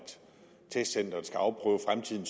testcenteret skal afprøve